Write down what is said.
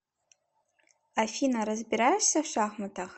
афина разбираешься в шахматах